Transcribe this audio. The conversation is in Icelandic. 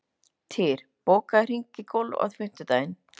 Týr, bókaðu hring í golf á fimmtudaginn.